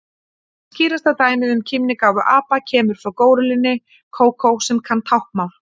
Skýrasta dæmið um kímnigáfu apa kemur frá górillunni Kókó sem kann táknmál.